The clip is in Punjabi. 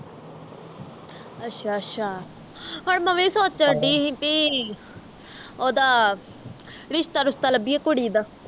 ਅੱਛਾ ਅੱਛਾ ਹੁਣ ਮੈਂ ਵੀ ਸੋਚ ਡਈ ਸੀ ਬੀ ਓਹਦਾ ਰਿਸ਼ਤਾ ਰੁਸ਼ਤਾ ਲੱਭੀਏ ਕੁੜੀ ਦਾ